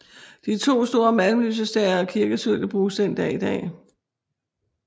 De to store malm lysestager og kirkesølvet bruges den dag i dag